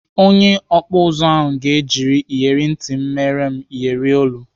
Onye ọkpụ ụzụ ahụ ga-eji iyeri ntị m mere m iyeri olu.